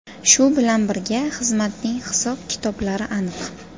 Shu bilan birga, xizmatning hisob-kitoblari aniq.